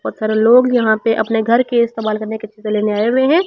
बहौत सारे लोग यहाँ पे अपने घर के इस्तेमाल करने के चीज़ें लेने आए हुए हैं।